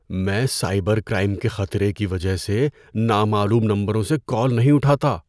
میں cyber crime کے خطرے کی وجہ سے نامعلوم نمبروں سے کال نہیں اٹھاتا۔